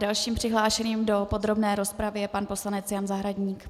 Dalším přihlášeným do podrobné rozpravy je pan poslanec Jan Zahradník.